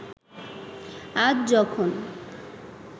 আজ যখন